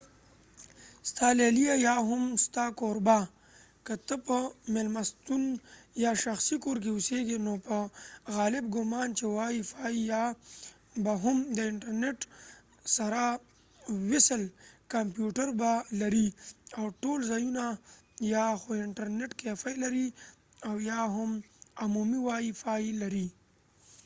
ستا لیلیه یا هم ستا کوربه که ته په میلمستون یا شخصی کور کې اوسیږی نو په غالب ګمان چې وای فای یا به هم د انټرنټ سره وصل کمپیو ټر به لري ،او ټول ځایونه یا خو انټرنټ کېفی لري او یا هم عمومی وای فای موقعیت